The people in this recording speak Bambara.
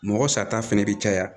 Mɔgɔ sata fɛnɛ bi caya